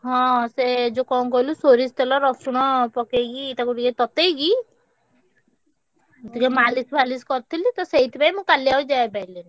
ହଁ ସେ ଯେ କଣ କହିଲୁ ସୋରିଷ ତେଲ ରସୁଣ ପକେଇକି ତାକୁ ଟିକେ ତତେଇକି ସେଥିରେ ମାଲିସ ଫଳିଶ କରିଥିଲି ତ ସେଇଥି ପାଇଁ ମୁଁ କଲି ଆଉ ଯାଇ ପାରିଲିନି।